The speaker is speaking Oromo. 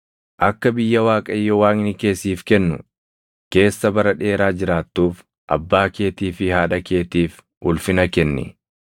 Akka biyya Waaqayyo Waaqni kee siif kennu keessa bara dheeraa jiraattuuf abbaa keetii fi haadha keetiif ulfina kenni.